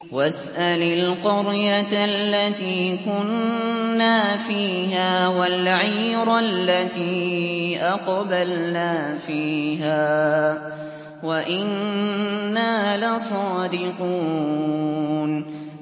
وَاسْأَلِ الْقَرْيَةَ الَّتِي كُنَّا فِيهَا وَالْعِيرَ الَّتِي أَقْبَلْنَا فِيهَا ۖ وَإِنَّا لَصَادِقُونَ